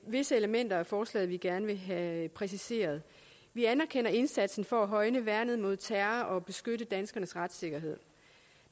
visse elementer i forslaget vi gerne vil have præciseret vi anerkender indsatsen for at højne værnet mod terror og beskytte danskernes retssikkerhed